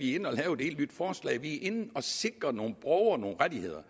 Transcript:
inde og lave et helt nyt forslag vi er inde at sikre nogle borgere nogle rettigheder